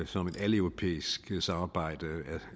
som et aleuropæisk samarbejde